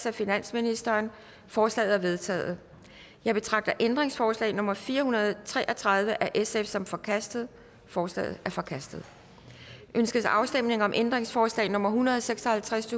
af finansministeren forslagene er vedtaget jeg betragter ændringsforslag nummer fire hundrede og tre og tredive af sf som forkastet forslaget er forkastet ønskes afstemning om ændringsforslag nummer en hundrede og seks og halvtreds